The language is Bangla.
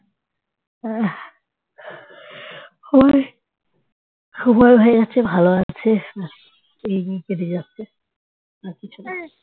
সময় হয়ে গেছে ভালো আছে এই দিন কেটে যাচ্ছে আর কিছু না